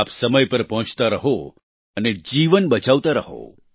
આપ સમય પર પહોંચતા રહો અને જીવન બચાવતા રહો